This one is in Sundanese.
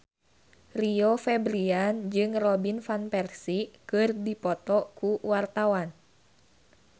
Rio Febrian jeung Robin Van Persie keur dipoto ku wartawan